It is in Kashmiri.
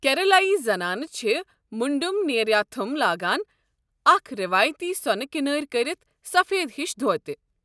کیرلٲیی زنانہٕ چھِ مُنڈم نیریاتھم لاگان، اکھ روایتی سۄنہٕ كِنٲرۍ كرِتھ سفید ہِش دھوتہِ۔